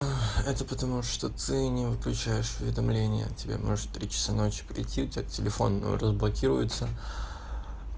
это потому что ты не выключаешь уведомления тебе может три часа ночи прийти у тебя телефон разблокируется